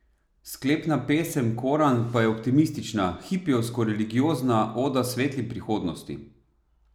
Sklepna pesem Koran pa je optimistična, hipijevsko religiozna oda svetli prihodnosti?